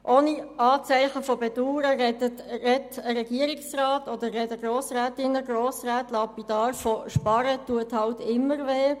Ohne Anzeichen von Bedauern sagt ein Regierungsrat oder sagen Grossrätinnen und Grossräte lapidar, sparen tue halt immer weh.